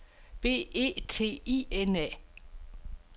B E T I N A